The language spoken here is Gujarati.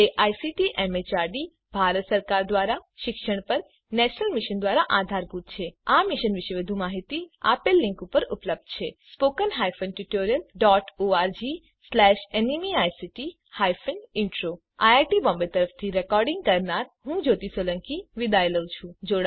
જે આઇસીટી એમએચઆરડી ભારત સરકાર દ્વારા શિક્ષણ પર નેશનલ મિશન દ્વારા આધારભૂત છે આ મિશન વિશે વધુ માહીતી આ લીંક ઉપર ઉપલબ્ધ છે spoken hyphen tutorial dot org slash NMEICT hyphen intro IIT Bombay તરફથી ભાષાંતર કરનાર હું કૃપાલી પરમાર વિદાય લઉં છું